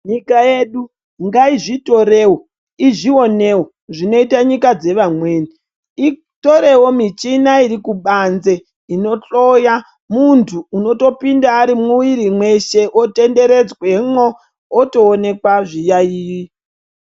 Nyika yedu ngaizvitorewo izvionewo zvinoita nyika dzevamweni itorewo michina iri kubanze inohloya muntu unotopinda ari mumwiri mweshe otonderedzwe mwo otowonekwa zviyaiyi.